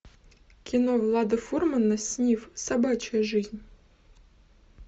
кино влада фурмана снифф собачья жизнь